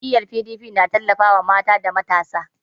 Jam'iyyar PDP na tallafawa mata da matasa.